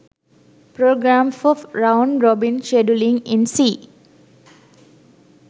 program for round robin scheduling in c